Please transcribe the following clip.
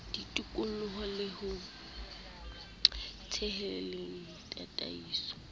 ditoloko le ho theheng ditataiso